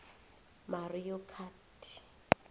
mario kart